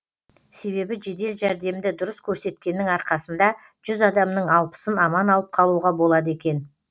себебі жедел жәрдемді дұрыс көрсеткеннің арқасында жүз адамның алпысын аман алып қалуға болады екен